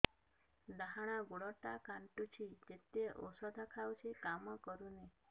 ଡାହାଣ ଗୁଡ଼ ଟା ଖାନ୍ଚୁଚି ଯେତେ ଉଷ୍ଧ ଖାଉଛି କାମ କରୁନି